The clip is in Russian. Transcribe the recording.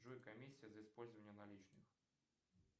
джой комиссия за использование наличных